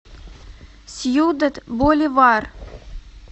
сьюдад боливар